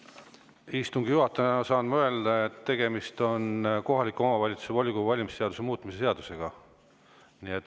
Istungi juhatajana saan ma öelda, et tegemist on kohaliku omavalitsuse volikogu valimise seaduse muutmise seadusega.